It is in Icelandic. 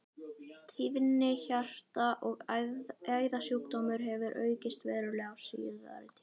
Tíðni hjarta- og æðasjúkdóma hefur aukist verulega á síðari tímum.